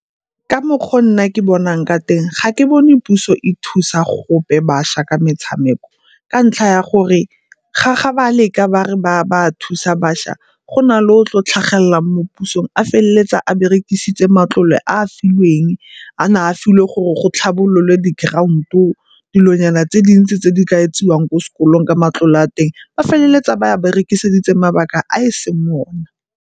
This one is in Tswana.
Ka mokgwa o nna ke bonang ka teng, ga ke bone puso e thusa gope bašwa ka metshameko ka ntlha ya gore ga ba leka bare ba a thusa bašwa go na le o o tlo tlhagelelang mo pusong a feleletsa a berekisitse matlole a e filweng, a na a filwe gore go tlhabololwa di-ground-o, dilonyana tse dintsi tse di ka etsiwang ko sekolong ka matlole a teng. Ba feleletsa ba a berekisitsa mabaka a e seng one.